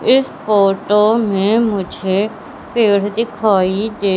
इस फोटो में मुझे पेड़ दिखाई दे--